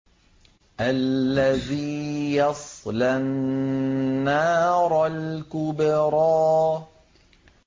الَّذِي يَصْلَى النَّارَ الْكُبْرَىٰ